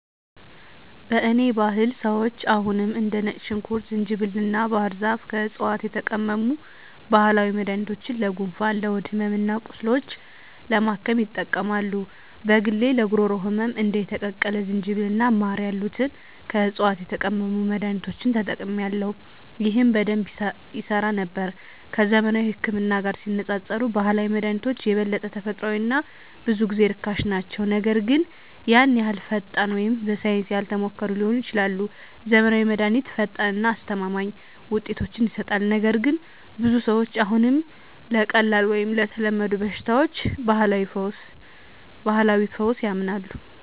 በእኔ ባህል ሰዎች አሁንም እንደ ነጭ ሽንኩርት፣ ዝንጅብል እና ባህር ዛፍ ከዕፅዋት የተቀመሙ ባህላዊ መድኃኒቶችን ለጉንፋን፣ ለሆድ ሕመም እና ቁስሎች ለማከም ይጠቀማሉ። በግሌ ለጉሮሮ ህመም እንደ የተቀቀለ ዝንጅብል እና ማር ያሉትን ከዕፅዋት የተቀመሙ መድኃኒቶችን ተጠቅሜአለሁ፣ ይህም በደንብ ይሠራ ነበር። ከዘመናዊው ህክምና ጋር ሲነፃፀሩ ባህላዊ መድሃኒቶች የበለጠ ተፈጥሯዊ እና ብዙ ጊዜ ርካሽ ናቸው, ነገር ግን ያን ያህል ፈጣን ወይም በሳይንስ ያልተሞከሩ ሊሆኑ ይችላሉ. ዘመናዊው መድሃኒት ፈጣን እና አስተማማኝ ውጤቶችን ይሰጣል, ነገር ግን ብዙ ሰዎች አሁንም ለቀላል ወይም ለተለመዱ በሽታዎች ባህላዊ ፈውስ ያምናሉ.